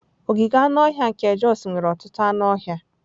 Ogige anụ ọhịa nke Jos nwere ọtụtụ anụ ọhịa.